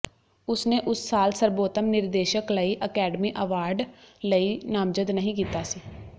ਉਸਨੇ ਉਸ ਸਾਲ ਸਰਬੋਤਮ ਨਿਰਦੇਸ਼ਕ ਲਈ ਅਕੈਡਮੀ ਅਵਾਰਡ ਲਈ ਨਾਮਜ਼ਦ ਨਹੀਂ ਕੀਤਾ ਸੀ